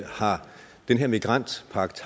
har den her migrantpagt